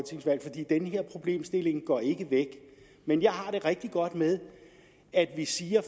den her problemstilling går ikke væk men jeg har det rigtig godt med at vi siger